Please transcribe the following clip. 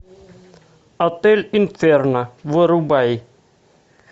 отель инферно вырубай